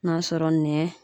N'a sɔrɔ nɛ